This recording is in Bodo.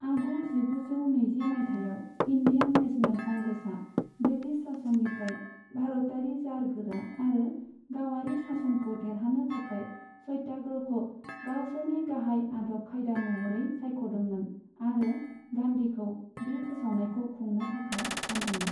आगु जिगुजौ नैजि मायथाइयाव, इन्डियान नेसनेल कंग्रेसआ ब्रिटिस सासननिफ्राय भारतारि जारगोरा आरो गावारि सासनखौ देरहानो थाखाय सत्याग्रहखौ गावसोरनि गाहाय आदब खायदा महरै सायख'दोंमोन आरो गान्धीखौ बे फोसावनायखौ खुंनो थाखाय थिसनदोंमोन।